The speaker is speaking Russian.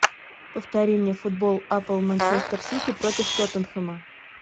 повтори мне футбол апл манчестер сити против тоттенхэма